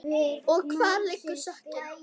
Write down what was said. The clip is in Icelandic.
Og hvar liggur sökin?